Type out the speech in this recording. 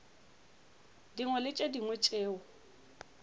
dingwe le tše dingwe tšeo